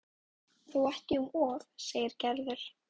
Þó ekki um of segir Gerður.